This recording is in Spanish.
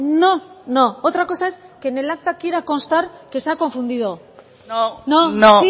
no no otra cosa es que en el acta quiera constar que se ha confundido no no